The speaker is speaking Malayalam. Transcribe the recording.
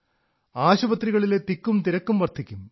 ആശുപത്രികളിലെ തിരക്കും വർധിക്കും